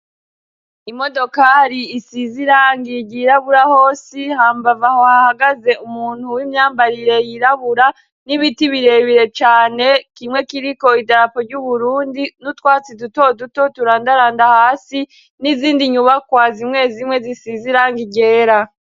Imodokari isize irangi ryirabura hose hambavu yaho ahagaze umuntu w'imyambarire yirabura n'ibiti birebire cane kimwe kiriko idarapu ry'uburundi n'utwatsi duto duto turandaranda hasi n'izindi nyubakwa zimwe zimwe isizirangi ryera.